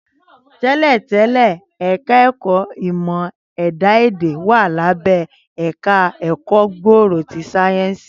Tẹ́lẹ̀ tẹ́lẹ̀, ẹ̀ka ẹ̀kọ́ ìmọ̀ ẹ̀dá èdè wà lábẹ́ ẹ̀ka ẹ̀kọ́ gbòòrò ti sáyẹ́ǹsì